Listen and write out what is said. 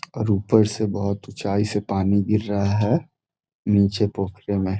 और ऊपर से बहोत ऊंचाई से पानी गिर रहा है नीचे पोखरी में।